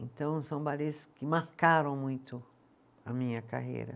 Então, são balês que marcaram muito a minha carreira.